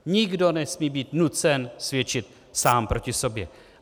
Nikdo nesmí být nucen svědčit sám proti sobě.